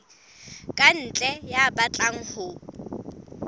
ka ntle ya batlang ho